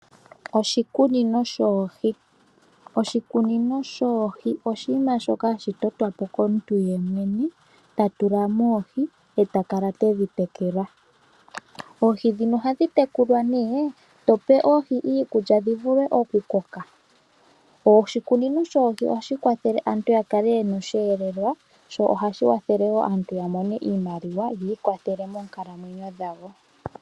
Oshikunino shoohi . Oshikunino shoohi oshinima shoka hashi totwapo komuntu yemwene tatulamo oohi etakala tedhi tekula. Oohi ndhino ohadhi tekulwa nee tope oohi iikulya dhivule oku koka . Oshikunino shoohi ohashi kwathele aantu yakale yena osheelelwa sho ohashi kwathele wo aantu yamone oshimaliwa yiikwathele monkalamwenyo dhawo.